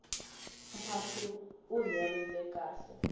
mphahlu wu herile khale